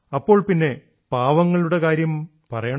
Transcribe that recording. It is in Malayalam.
അപ്പോൾ പിന്നെ പാവങ്ങളുടെ കാര്യം പറയണോ